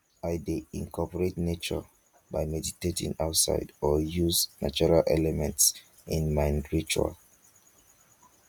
i dey incorporate nature by meditating outside or use natural elements in my rituals